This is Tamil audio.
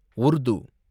உர்து